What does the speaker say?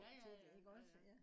ja ja ja